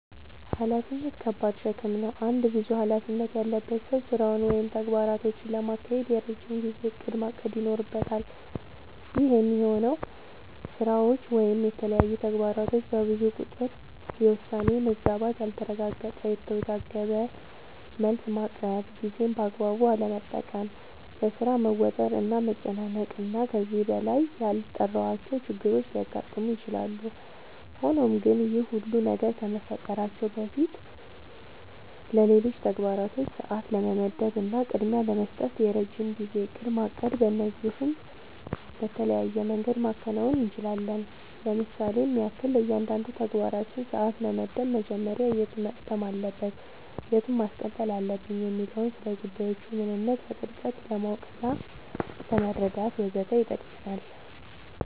ኃላፊነት ከባድ ሸክም ነው። አንድ ብዙ ኃላፊነት ያለበት ሰው ስራውን ወይም ተግባራቶቹን ለማካሄድ የረጅም ጊዜ እቅድ ማቀድ ይኖርበታል። ይህ የሚሆነው ስራዎች ወይም የተለያዩ ተግባራቶች በብዙ ቁጥር የውሳኔ መዛባት ያልተረጋገጠ፣ የተወዘጋገበ መልስ ማቅረብ፣ ጊዜን በአግባቡ አለመጠቀም፣ በሥራ መወጠር እና መጨናነቅ እና ከዚህ በላይ ያልጠራሁዋቸው ችግሮች ሊያጋጥሙ ይችላሉ። ሆኖም ግን ይህ ሁሉ ነገር ከመፈጠራቸው በፊትለሌሎች ተግባራቶች ሰዓት ለመመደብ እና ቅድሚያ ለመስጠት የረጅም ጊዜ እቅድ ማቀድ በዚህም በተለያየ መንገድ ማከናወን እንችላለኝ ለምሳሌም ያክል፦ ለእያንዳንዱ ተግባራችን ሰዓት መመደብ መጀመሪያ የቱ መቅደም አለበት የቱን ማስቀጠል አለብኝ የሚለውን፣ ስለጉዳዮቹ ምንነት በጥልቀት ለማወቅናለመረዳት ወዘተ ይጠቅመናል።